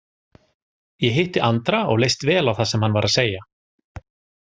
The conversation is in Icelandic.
Ég hitti Andra og leist vel á það sem hann var að segja.